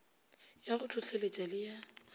ya go hlohleletpa le ya